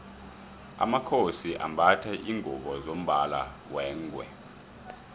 amakhosi ambatha lingubo zombala wengwe